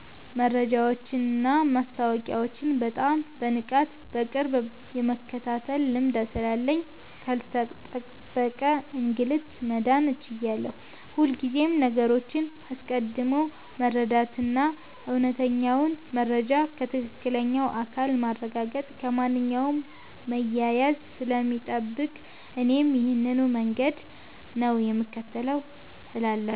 መረጃዎችንና ማስታወቂያዎችን በጣም በንቃትና በቅርብ የመከታተል ልማድ ስላለኝ ካልተጠበቀ እንግልት መዳን ችያለሁ። ሁልጊዜም ነገሮችን አስቀድሞ መረዳትና እውነተኛውን መረጃ ከትክክለኛው አካል ማረጋገጥ ከማንኛውም መያያዝ ስለሚጠብቅ እኔም ይሄንኑ መንገድ ነው የምከተለው እላለሁ።